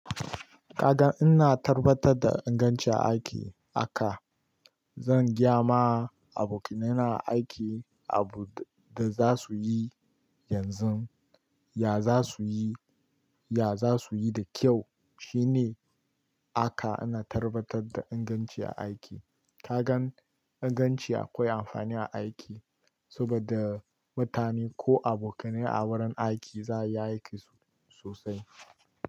Ka ga ina tabbatar da ingancin aiki aka, zan geyama abokanai a aiki abu da za su yi yanzun, ya za su yi, ya za su yi da kyau shine aka ana tarbatar da inganci aiki. Kagan in ganci akoi amfani a aiki saboda mutane ko abokanai a wurin aiki za a yi aiki sosai.